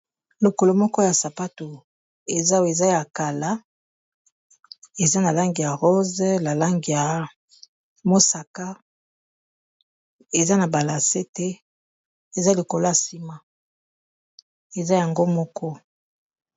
lokolo moko ya sapato ezeza ya kala eza na langi ya rose ya mosaka eza na balase te eza yango moko